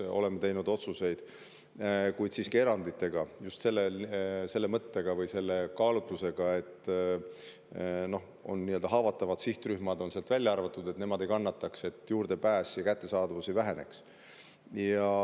Oleme teinud otsuseid, kuid siiski eranditega, just selle mõttega või selle kaalutlusega, et haavatavad sihtrühmad on sealt välja arvatud, et nemad ei kannataks ning et nende tervishoiule juurdepääs ja arstiabi kättesaadavus ei väheneks.